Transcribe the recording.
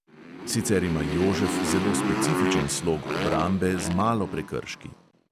Sicer ima jožef zelo specifičen slog obrambe z malo prekrški.